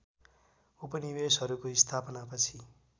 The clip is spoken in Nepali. उपनिवेसहरूको स्थापना पछि